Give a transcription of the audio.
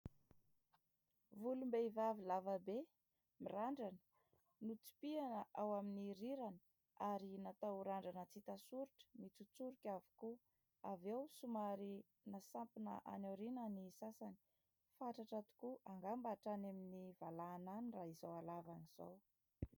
Volom-behivavy lava be, mirandrana. Notsipihina ao amin'ny rirany ary natao randrana tsy hita soritra mitsotsorika avokoa. Avy eo somary nasampina any aoriana ny sasany. Fatratra tokoa, angamba hatrany amin'ny valahana any raha izao halavany izao.